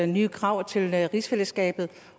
nye krav til rigsfællesskabet